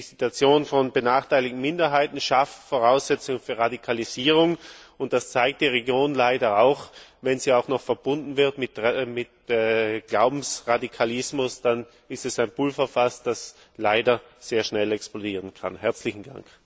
Ich denke, die Situation von benachteiligten Minderheiten schafft Voraussetzungen für Radikalisierung und, das zeigt die Region leider auch, wenn sie auch noch verbunden wird mit Glaubensradikalismus, dann ist das ein Pulverfass, das leider sehr schnell explodieren kann.